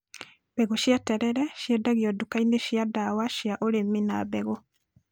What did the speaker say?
Mbegũ cia terere ciendagio nduka-inĩ cia ndawa cia ũrĩmi na mbegũ